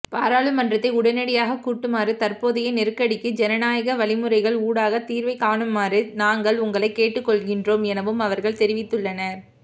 பாராளுமன்றத்தை உடனடியாக கூட்டுமாறும் தற்போதைய நெருக்கடிக்கு ஜனநாயக வழிமுறைகள்ஊடாக தீர்வை காணுமாறும் நாங்கள் உங்களை கேட்டுக்கொள்கின்றோம் எனவும் அவர்கள் தெரிவித்துள்ளனர்